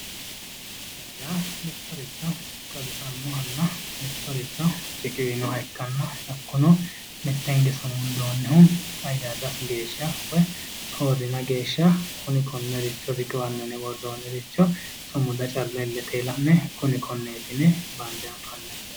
Sumudaho yaa mittoricho xawisanoha ikknana mittoricho riqiwinoha ikkanna hakkuno mitte hinge sumundoonnihu qayyarrasi geeshsha woyi soorrina geeshsha kuni konnericho riqiwanno yine worroonniricho sumuda calla illete la'ne kuni konneeti yine bande anfanni.